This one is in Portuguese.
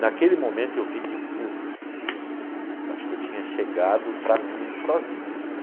Naquele momento eu vi que, putz, acho que eu tinha chegado para mim sozinho, assim.